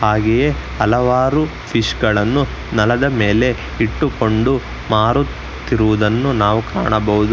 ಹಲವಾರು ಫಿಶ್ಗಳನ್ನು ನೆಲದ ಮೇಲೆ ಇಟ್ಟುಕೊಂಡು ಮಾರುತ್ತಿರುವುದನ್ನು ನಾವು ಕಾಣಬಹುದು.